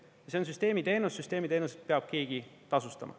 Ja see on süsteemiteenus, süsteemiteenuseid peab keegi tasustama.